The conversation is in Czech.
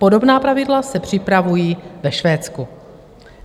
Podobná pravidla se připravují ve Švédsku.